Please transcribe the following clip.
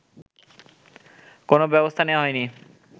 কোনো ব্যবস্থা নেয়া হয়নি